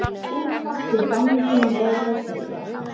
Útvarp í gangi meira að segja.